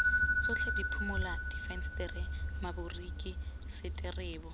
tsotlhe diphimola difensetere maboriki seterebo